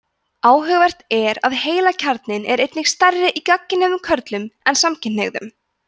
áhugavert er að heilakjarnarnir eru einnig stærri í gagnkynhneigðum körlum en samkynhneigðum